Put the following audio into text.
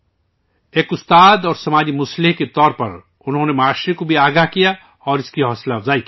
ایک استاد اور سماجی مصلح کے طور پر انہوں نے معاشرے کو بیدار بھی کیا اور اس کی حوصلہ افزائی بھی کی